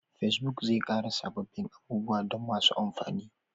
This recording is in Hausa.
Facebook zai ƙara sabbin abubuwa don masu amfani